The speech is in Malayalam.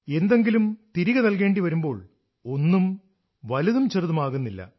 എന്തെങ്കിലും തിരികെ നൽകേണ്ടി വരുമ്പോൾ ഒന്നും വലുതും ചെറുതും ആകുന്നില്ല